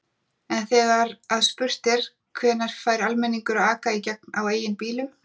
En þegar að spurt er: Hvenær fær almenningur að aka í gegn á eigin bílum?